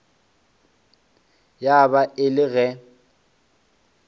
ya ba e le ge